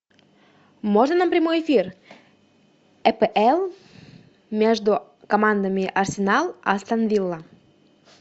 можно нам прямой эфир апл между командами арсенал астон вилла